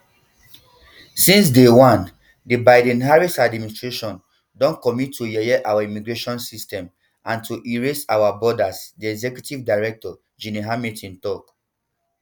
since day one di bidenharris administration don commit to yeye our immigration system and to erase our borders di executive director gene hamilton to